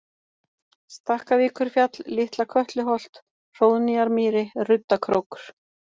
Stakkavíkurfjall, Litla-Kötluholt, Hróðnýjarmýri, Ruddakrókur